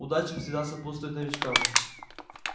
удача всегда сопутствует новичкам